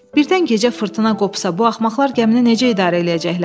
Birdən gecə fırtına qopsa bu axmaqlar gəmini necə idarə eləyəcəklər?